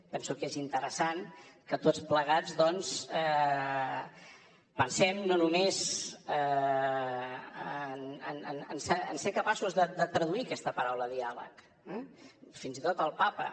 penso que és interessant que tots plegats doncs pensem no només en ser capaços de traduir aquesta paraula diàleg eh fins i tot el papa